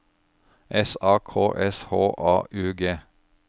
S A K S H A U G